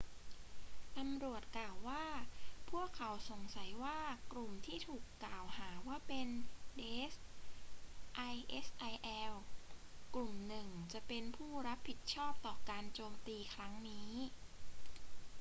ตำรวจกล่าวว่าพวกเขาสงสัยว่ากลุ่มที่ถูกกล่าวหาว่าเป็น daesh isil กลุ่มหนึ่งจะเป็นผู้รับผิดชอบต่อการโจมตีครั้งนี้